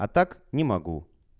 а так не могу